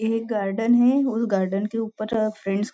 यह गार्डन है उ गार्डन के ऊपर फ्रेंड्स ---